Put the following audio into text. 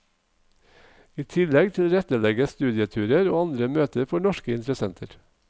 I tillegg tilrettelegges studieturer og andre møter for norske interessenter.